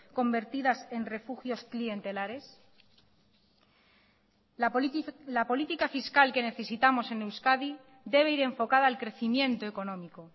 convertidas en refugios clientelares la política fiscal que necesitamos en euskadi debe ir enfocada al crecimiento económico